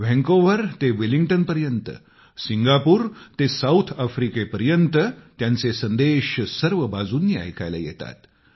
Vancouver ते वेलिंग्टनपर्यंत Singapore ते साउथ अफ्रिकेपर्यंत त्यांचे संदेश सर्व बाजूंनी ऐकायला येतात